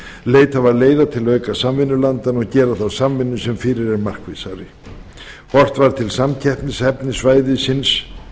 leitað var leiða til að auka samvinnu landanna á milli og gera þá samvinnu sem fyrir er markvissari einnig var horft til samkeppnishæfni svæðisins